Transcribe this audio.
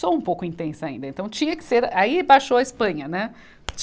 Sou um pouco intensa ainda, então tinha que ser, aí baixou a Espanha, né?